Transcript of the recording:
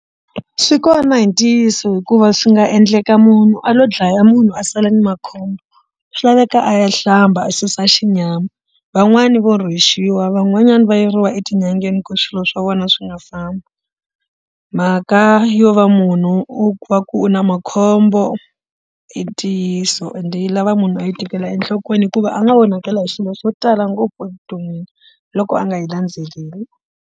Swi kona hi ntiyiso hikuva swi nga endleka munhu a lo dlaya munhu a sala ni makhombo swi laveka a ya hlamba a susa xinyama van'wani vo rhwexiwa van'wanyani va yeriwa etin'angeni ku swilo swa vona swi nga fambi mhaka yo va munhu u va ku u na makhombo i ntiyiso ende yi lava munhu a yi tekela enhlokweni hikuva a nga onhakela hi swilo swo tala ngopfu evuton'wini loko a nga yi landzeleli.